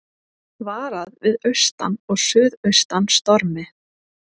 Varað við austan og suðaustan stormi